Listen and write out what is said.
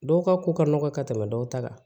Dɔw ka ko ka nɔgɔn ka tɛmɛ dɔw ta kan